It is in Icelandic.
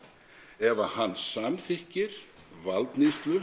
ef að hann samþykkir valdníðslu